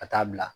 Ka taa bila